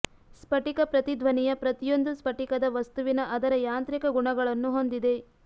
ಸ್ಫಟಿಕ ಪ್ರತಿಧ್ವನಿಯ ಪ್ರತಿಯೊಂದು ಸ್ಫಟಿಕದ ವಸ್ತುವಿನ ಅದರ ಯಾಂತ್ರಿಕ ಗುಣಗಳನ್ನು ಹೊಂದಿದೆ